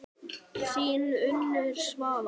Þín Unnur Svala.